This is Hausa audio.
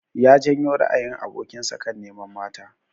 Ya janyo ra'ayin abokin sa kan neman mata.